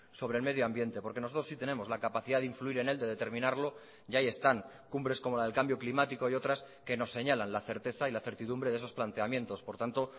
sobre el medio ambiente porque nosotros sí tenemos la capacidad de influir en él de determinarlo y ahí están cumbres como la del cambio climático y otras que nos señalan la certeza y la certidumbre de esos planteamientos por tanto